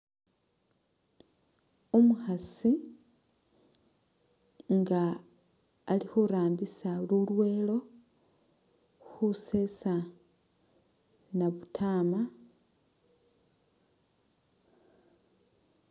Umukhasi nga ali khurambisa lulwelo khusesa nabutama